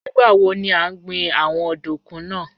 Nigbawo ni a n gbin awọn ọdunkun naa?